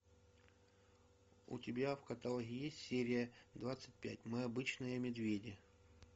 у тебя в каталоге есть серия двадцать пять мы обычные медведи